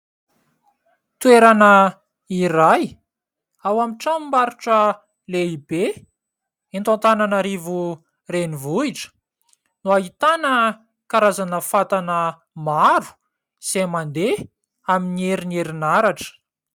Toerana iray ao amin'ny tramom-barotra lehibe eto Antananarivo renivohitra no ahitana karazana fatana maro izay mandeha amin'ny herin'ny herinaratra.